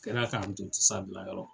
Kɛra k'an to n tɛ s'a bila yɔrɔ min.